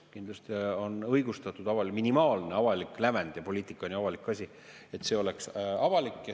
Kindlasti on õigustatud minimaalne avalik lävend – ja poliitika on ju avalik asi –, et see oleks avalik.